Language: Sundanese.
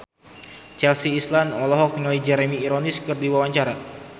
Chelsea Islan olohok ningali Jeremy Irons keur diwawancara